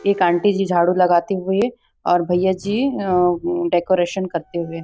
एक आंटी जी झाडू लगती हुई और भईया जी आ अ डेकोरेशन करते हुए।